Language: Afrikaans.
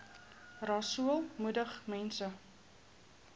rasool moedig mense